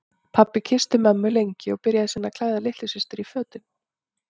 Pabbi kyssti mömmu lengi og byrjaði síðan að klæða litlu systur í fötin.